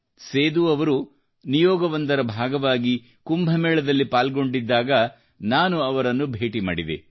ಸೇದೂ ಅವರು ನಿಯೋಗವೊಂದರ ಭಾಗವಾಗಿ ಕುಂಭಮೇಳದಲ್ಲಿ ಪಾಲ್ಗೊಂಡಿದ್ದಾಗ ನಾನು ಅವರನ್ನು ಭೇಟಿ ಮಾಡಿದೆ